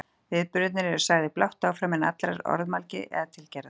Viðburðirnir eru sagðir blátt áfram án allrar orðamælgi eða tilgerðar.